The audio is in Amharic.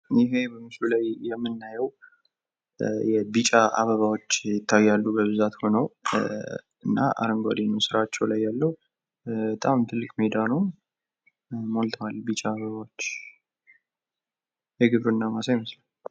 ይሄ በምስሉ ላይ የምናየው ቢጫ አበባዎች ይታያሉ በብዛት ሁነው። አረንጓዴ ነው ስራቸው ላይ ያለው በጣም ትልቅ ሜዳ ነው። ሞልቷል ቢጫ አበባዎች የግብርና ማሳ ይመስላል።